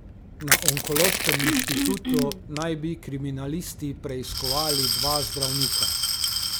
Na onkološkem inštitutu naj bi kriminalisti preiskovali dva zdravnika.